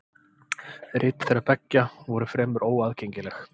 rit þeirra beggja voru fremur óaðgengileg